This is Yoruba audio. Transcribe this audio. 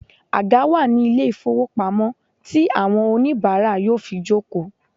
Àga wà ní ilé ìfowópamọ́ tí àwọn oníìbárà yóò fi jòkó